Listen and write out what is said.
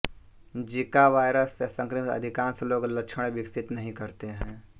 Zika virus से संक्रमित अधिकांश लोग लक्षण विकसित नहीं करते हैं